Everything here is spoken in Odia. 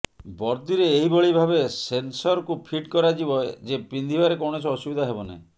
ବର୍ଦିରେ ଏହିଭଳି ଭାବେ ସେନ୍ସରକୁ ଫିଟ୍ କରାଯିବ ଯେ ପିନ୍ଧିବାରେ କୌଣସି ଅସୁବିଧା ହେବ ନାହିଁ